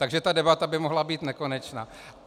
Takže ta debata by mohla být nekonečná.